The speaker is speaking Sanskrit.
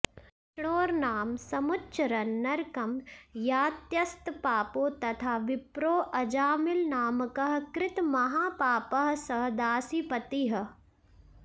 विष्णोर्नाम समुच्चरन्न नरकं यात्यस्तपापो यथा विप्रोऽजामिलनामकः कृतमहापापः स दासीपतिः